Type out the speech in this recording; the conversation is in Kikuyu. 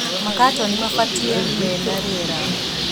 Makatoni mabatie menariera.